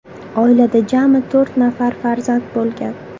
Oilada jami to‘rt nafar farzand bo‘lgan.